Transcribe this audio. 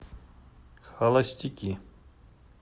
холостяки